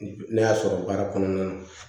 Ne y'a sɔrɔ baara kɔnɔna na